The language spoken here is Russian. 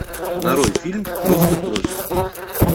нарой фильм просто кровь